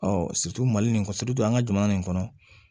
mali in kɔ an ka jamana nin kɔnɔ